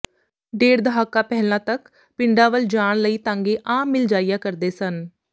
ਡੇਢ ਦਹਾਕਾ ਪਹਿਲਾਂ ਤਕ ਪਿੰਡਾਂ ਵੱਲ ਜਾਣ ਲਈ ਤਾਂਗੇ ਆਮ ਮਿਲ ਜਾਇਆ ਕਰਦੇ ਸਨ